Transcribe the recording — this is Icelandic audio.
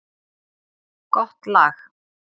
Gott lag.